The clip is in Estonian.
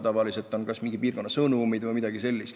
Tavaliselt on kas mingi piirkonna sõnumid või midagi sellist.